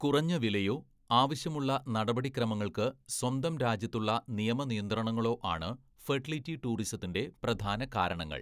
കുറഞ്ഞ വിലയോ ആവശ്യമുള്ള നടപടിക്രമങ്ങൾക്ക് സ്വന്തം രാജ്യത്തുള്ള നിയമനിയന്ത്രണങ്ങളോ ആണ് ഫെർട്ടിലിറ്റി ടൂറിസത്തിന്റെ പ്രധാന കാരണങ്ങൾ.